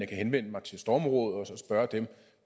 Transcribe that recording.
kan henvende mig til stormrådet og spørge dem